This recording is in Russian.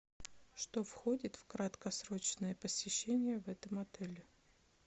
что входит в краткосрочное посещение в этом отеле